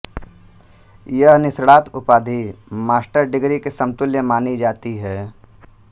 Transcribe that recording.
यह निष्णात उपाधि मास्टर्स डिग्री के समतुल्य मानी जाती है